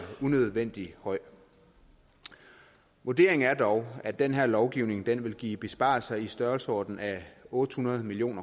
unødvendig høj vurderingen er dog at den her lovgivning vil give besparelser i størrelsesordenen otte hundrede million